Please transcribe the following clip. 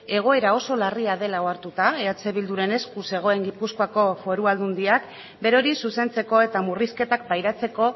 egoera oso larria dela ohartuta eh bilduren esku zegoen gipuzkoako foru aldundiak berori zuzentzeko eta murrizketak pairatzeko